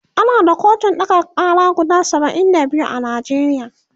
ana da kotun ɗaga Kara guda saba'in da biyu a Najeriya